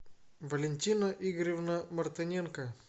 валентина игоревна мартыненко